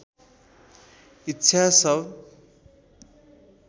इच्छा सब